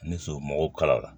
Ni somɔgɔw kala la